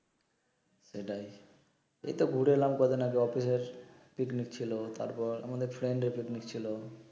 সেটাই এই তো ঘুরে এলাম কয়দিন আগে অফিস এর পিকনিক ছিলো তারপর আমাদের ফ্রেন্ড এর পিকনিক ছিলো